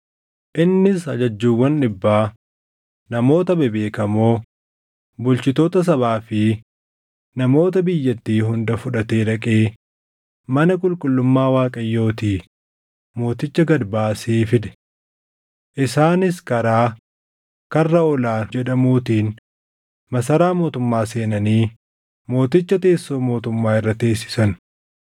Innis ajajjuuwwan dhibbaa, namoota bebeekamoo, bulchitoota sabaa fi namoota biyyattii hunda fudhatee dhaqee mana qulqullummaa Waaqayyootii mooticha gad baasee fide. Isaanis karaa, “Karra Ol aanu” jedhamuutiin masaraa mootummaa seenanii mooticha teessoo mootummaa irra teessisan.